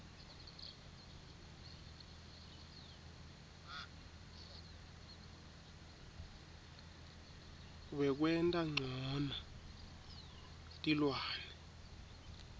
wekwenta ncono tilwane